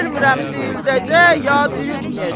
Bilmirəm, dirildəcək, ya diriltməyəcək.